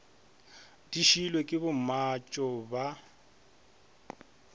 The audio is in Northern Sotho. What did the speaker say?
di šiilwe ke bommatšo ba